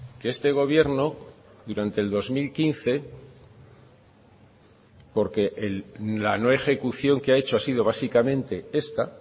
que este gobierno durante el dos mil quince porque la no ejecución que ha hecho ha sido básicamente esta